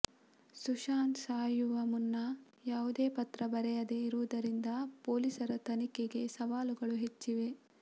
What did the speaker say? ಸುಶಾಂತ್ ಸಾಯುವ ಮುನ್ನ ಯಾವುದೇ ಪತ್ರ ಬರೆಯದೆ ಇರುವುದರಿಂದ ಪೊಲೀಸರ ತನಿಖೆಗೆ ಸವಾಲುಗಳು ಹೆಚ್ಚಿವೆ